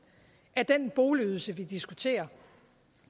af den boligydelse vi diskuterer